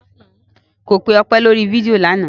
Ko pe Ọpẹ́ lórí fídíò lánàá.